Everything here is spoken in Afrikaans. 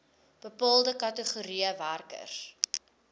bepaalde kategorieë werkers